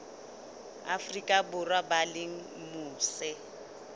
afrika borwa ba leng mose